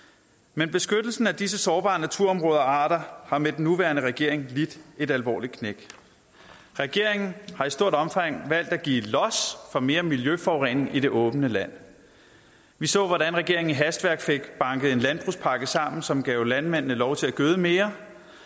men beskyttelsen af disse sårbare naturområder og arter har med den nuværende regering lidt et alvorligt knæk regeringen har i stort omfang valgt at give los for mere miljøforurening i det åbne land vi så hvordan regeringen i hastværk fik banket en landbrugspakke sammen som gav landmændene lov til at gøde mere